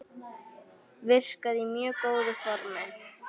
Virkaði í mjög góðu formi.